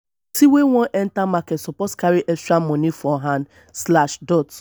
pesin wey wan enter market suppose carry extra moni for hand.